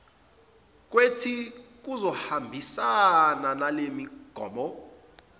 kwethi kuzohambisana nalemigomo